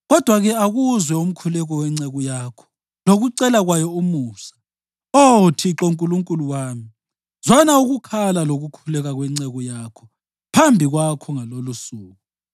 Kodwa-ke akuzwe umkhuleko wenceku yakho lokucela kwayo umusa, Oh Thixo Nkulunkulu wami. Zwana ukukhala lokukhuleka kwenceku yakho phambi kwakho ngalolusuku.